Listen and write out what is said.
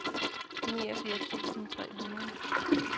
niogfirs tusind tre hundrede